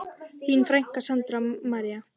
Þín frænka, Sandra María.